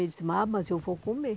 Eu disse, ah mas eu vou comer.